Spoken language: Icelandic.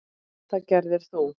Það gerðir þú.